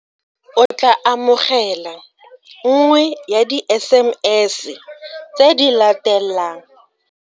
O tla amogela nngwe ya di-SMS tse di latelang.